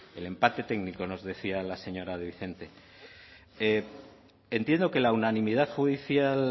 el empate técnico nos decía la señora de entiendo que la unanimidad judicial